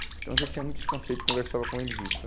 Então, eu já tinha muitos conceito, conversava com eles isso.